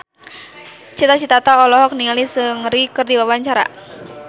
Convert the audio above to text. Cita Citata olohok ningali Seungri keur diwawancara